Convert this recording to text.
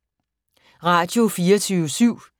Radio24syv